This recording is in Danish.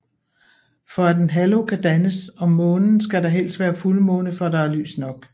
For at en halo kan dannes om Månen skal det helst være fuldmåne for at der er lys nok